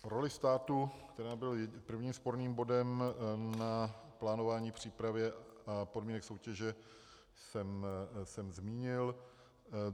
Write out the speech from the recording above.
Roli státu, která byla prvním sporným bodem na plánování a přípravě podmínek soutěže, jsem zmínil.